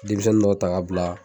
Denmisɛnnin dɔ ta ka bila